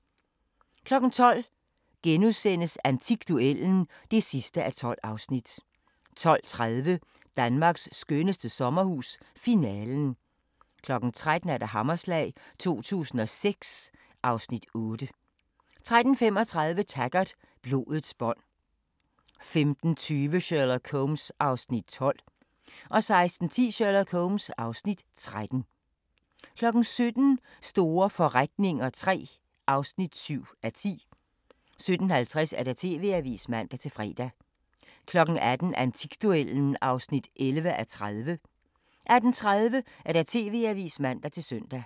12:00: Antikduellen (12:12)* 12:30: Danmarks skønneste sommerhus – Finalen 13:00: Hammerslag 2006 (Afs. 8) 13:35: Taggart: Blodets bånd 15:20: Sherlock Holmes (Afs. 12) 16:10: Sherlock Holmes (Afs. 13) 17:00: Store forretninger III (7:10) 17:50: TV-avisen (man-fre) 18:00: Antikduellen (11:30) 18:30: TV-avisen (man-søn)